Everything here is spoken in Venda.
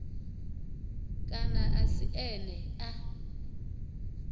kana a si ene a